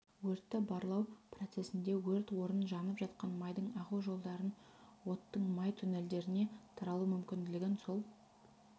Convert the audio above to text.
өртті барлау процесінде өрт орнын жанып жатқан майдың ағу жолдарын оттың май туннельдеріне таралу мүкінділігін сол